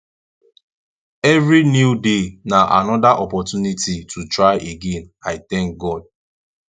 evri new day na anoda opportunity to try again i tank god